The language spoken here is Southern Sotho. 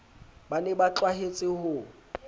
ba ne ba tlwahetse ho